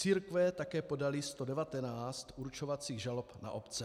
Církve také podaly 119 určovacích žalob na obce.